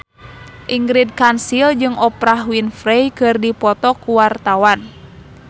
Ingrid Kansil jeung Oprah Winfrey keur dipoto ku wartawan